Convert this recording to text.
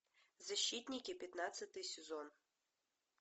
защитники пятнадцатый сезон